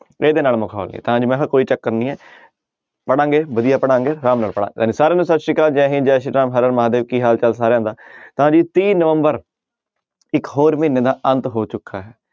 ਇਹਦੇ ਨਾਲ ਮਖੌਲ ਨੀ ਤਾਂ ਅੱਜ ਮੈਂ ਕਿਹਾ ਕੋਈ ਚੱਕਰ ਨੀ ਹੈ ਪੜ੍ਹਾਂਗੇ ਵਧੀਆ ਪੜ੍ਹਾਂਗੇ ਆਰਾਮ ਨਾਲ ਸਾਰਿਆਂ ਨੂੰ ਸਤਿ ਸ੍ਰੀ ਅਕਾਲ ਜੈ ਹਿੰਦ ਜੈ ਸ੍ਰੀ ਰਾਮ ਹਰਿ ਹਰਿ ਮਹਾਂਦੇਵ ਕੀ ਹਾਲ ਚਾਲ ਸਾਰਿਆਂ ਦਾ ਤਾਂ ਜੀ ਤੀਹ ਨਵੰਬਰ ਇੱਕ ਹੋਰ ਮਹੀਨੇ ਦਾ ਅੰਤ ਹੋ ਚੁੱਕਾ ਹੈ।